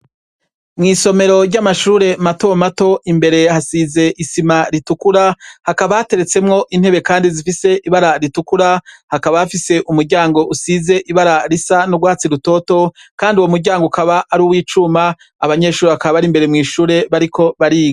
Mw'isomero ry'amashure matomato, imbere hasize isima ritukura, hakaba hateretsemwo intebe kandi zifise ibara ritukura, hakaba hafise umuryango usize ibara risa n'urwatsi rutoto kandi uwo muryango ukaba ari uw'icuma, abanyeshure bakaba bari imbere mw'ishure, bariko bariga.